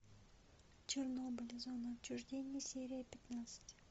чернобыль зона отчуждения серия пятнадцать